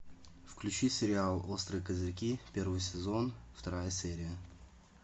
включи сериал острые козырьки первый сезон вторая серия